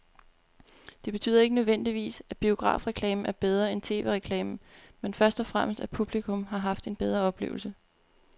Det betyder ikke nødvendigvis, at biografreklamen er bedre end tv-reklamen, men først og fremmest at publikum har haft en bedre oplevelse.